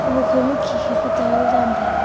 ho khoma khi khi pe towel dan taiga.